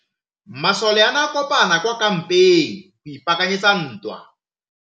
Masole a ne a kopane kwa kampeng go ipaakanyetsa ntwa.